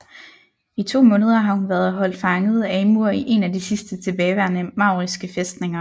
I to måneder har hun været holdt fanget af Amur i en af de sidste tilbageværende mauriske fæstninger